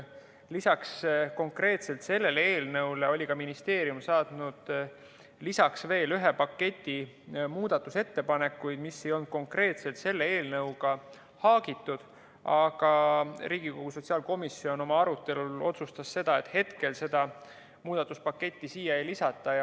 Lisaks konkreetselt sellele eelnõule oli ministeerium saatnud veel ühe paketi muudatusettepanekuid, mis ei olnud konkreetselt selle eelnõuga haagitud, aga Riigikogu sotsiaalkomisjon oma arutelul otsustas, et hetkel seda muudatuspaketti siia ei lisata.